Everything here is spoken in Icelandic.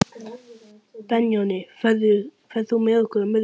Benóný, ferð þú með okkur á miðvikudaginn?